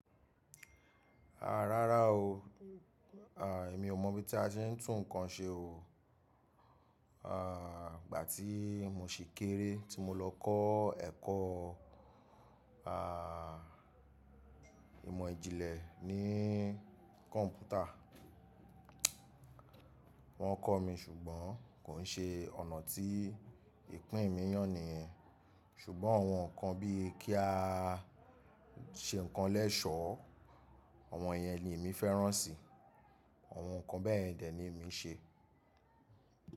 Rárá o, à, èmi ò mọ bí a ti ń tún nǹkan ṣe o. À, ìgbà tí mo sì kéré tí mo lọ kọ́ ẹ̀kọ́, àà, ìmọ̀ ìjìnlẹ̀ ní kọ́mpútà. Wọ́n kọ́ mi ṣùgbọ́n kò nṣe ọ̀nà tí ìpín mi yàn ni, ṣùgbọ́n àwọn nǹkan bí i kí a ṣe nǹkan lẹ́ṣọ́, àwọn yẹn ni èmi fẹ́ràn sì, àwọn nǹkan bẹ́ẹ̀ yẹn dè ni èmi ṣe.